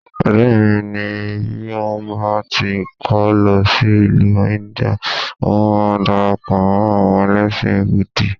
Ọ̀rẹ́ mi ni bí òun bá ti kó lọ sí ìlú India, ohun máa darapọ̀ mọ́ àwọn ẹlẹ́sìn búdì